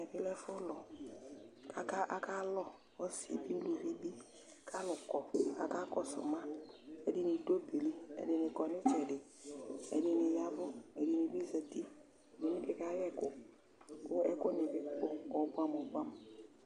Ɛmɛ lɛ ɛfʋlʋ kʋ akalʋ ɔsɩ bɩ uluvi bɩ kʋ alʋ kɔ kʋ akakɔsʋ ma Ɛdɩnɩ dʋ ɔbɛ yɛ li, ɛdɩnɩ kɔ nʋ ɩtsɛdɩ, ɛdɩnɩ ya ɛvʋ, ɛdɩnɩ bɩ zati, ɛdɩnɩ bɩ kayɛ ɛkʋ kʋ ɛkʋnɩ bɩ kɔ ɔbʋɛamʋ ɔbʋɛamʋ